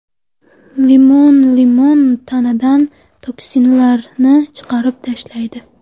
Limon Limon tanadan toksinlarni chiqarib tashlaydi.